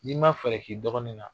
N'i ma fɛɛrɛ k'i dɔgɔnin na